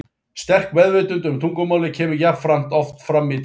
Sterk meðvitund um tungumálið kemur jafnframt oft fram í textanum.